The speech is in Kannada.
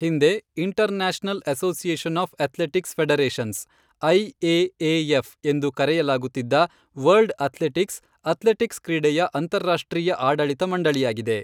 ಹಿಂದೆ, international association of athletics federations ,I A A F, ಎಂದು ಕರೆಯಲಾಗುತ್ತಿದ್ದ ವರ್ಲ್ಡ್ ಅಥ್ಲೆಟಿಕ್ಸ್, ಅಥ್ಲೆಟಿಕ್ಸ್ ಕ್ರೀಡೆಯ ಅಂತಾರಾಷ್ಟ್ರೀಯ ಆಡಳಿತ ಮಂಡಳಿಯಾಗಿದೆ.